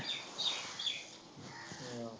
ਕੀ ਆ